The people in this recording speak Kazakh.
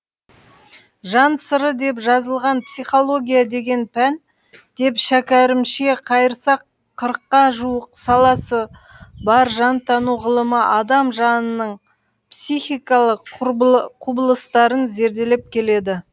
жан сыры деп жазылған психология деген пән деп шәкәрімше қайырсақ қырыққа жуық саласы бар жантану ғылымы адам жанының психикалық құбылыстарын зерделеп келеді